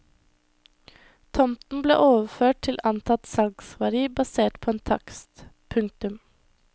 Tomten ble overført til antatt salgsverdi basert på en takst. punktum